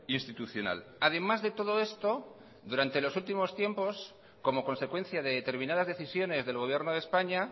institucional además de todo esto durante los últimos tiempos como consecuencia de determinadas decisiones del gobierno de españa